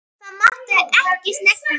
Það mátti ekki snerta hann.